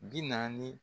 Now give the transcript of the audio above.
Bi naani